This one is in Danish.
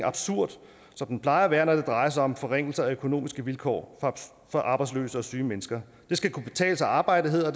absurd som den plejer at være når det drejer sig om forringelser af økonomiske vilkår for arbejdsløse og syge mennesker det skal kunne betale sig at arbejde hedder